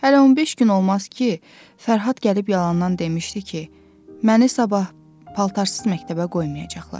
Hələ 15 gün olmaz ki, Fərhad gəlib yalandan demişdi ki, məni sabah paltarsız məktəbə qoymayacaqlar.